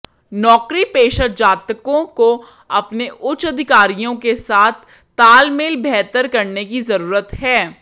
नौकरीपेशा जातकों को अपने उच्च अधिकारियों के साथ तालमेल बेहतर करने की जरूरत है